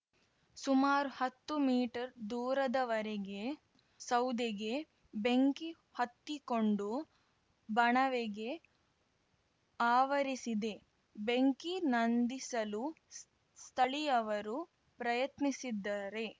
ಸುಮಾರು ಹತ್ತು ಮೀಟರ್ದೂರದವರೆಗೆ ಸೌದೆಗೆ ಬೆಂಕಿ ಹತ್ತಿಕೊಂಡು ಬಣವೆಗೆ ಆವರಿಸಿದೆ ಬೆಂಕಿ ನಂದಿಸಲು ಸ್ಥಳೀಯವರು ಪ್ರಯತ್ನಿಸಿದ್ದಾರೆ